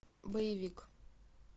боевик